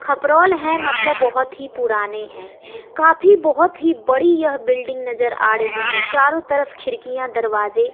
खपरोल हैं मतलब बहोत ही पुराने हैं काफी बहोत ही बड़ी यह बिल्डिंग नजर आ रही है चारों तरफ खिड़कियां दरवाजे --